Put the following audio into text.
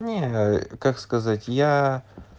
не как сказать я